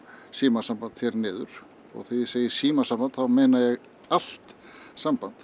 símasamband hér niður og þegar ég segi símasamband þá meina ég allt samband